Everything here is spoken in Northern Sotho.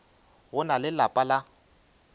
go na le lapa la